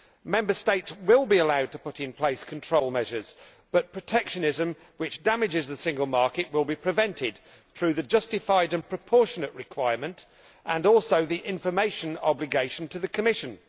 Member States will be allowed to put in place control measures but protectionism, which damages the single market, will be prevented through the justified and proportionate' requirement and also the information obligation to the Commission.